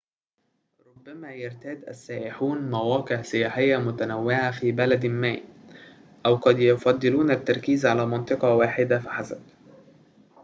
ربما يرتاد السائحون مواقع سياحية متنوعة في بلد ما أو قد يفضلون التركيز على منطقة واحدة فحسب